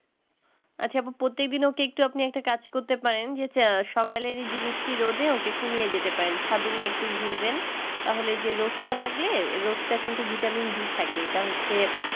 আচ্ছা এবার প্রত্যেকদিনও টি একটু আপনি একটা কাজ করতে পারেন যে সকালেরই জিনিস টি রোদে ওকে একটু নিয়ে যেতে পারেন ছাদে একটু নিয়ে ঘুরবেন তাহলে যে রোদটা লাগলে রোদটা কিন্ত vitamin d থাকে এটা হচ্ছে